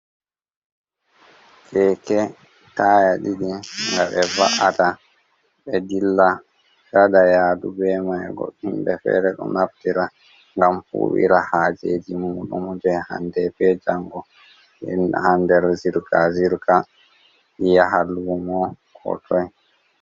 Keke taya ɗiɗi nga ɓe va’ata ɓe dilla waɗa yadu ɓe mai, goddum himɓe fere ɗo naftira ngam huwira hajeji muɗum je hande be jango, hander zirga-zirga yaha lumo ko toi.